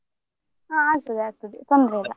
ಆಹ್ ಆಗ್ತದೆ ಆಗ್ತದೆ ತೊಂದ್ರೆ ಇಲ್ಲ.